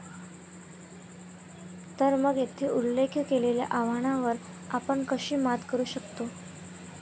तर मग, येथे उल्लेख केलेल्या आव्हानांवर आपण कशी मात करू शकतो?